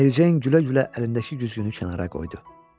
Mericeyn gülə-gülə əlindəki güzgünü kənara qoydu.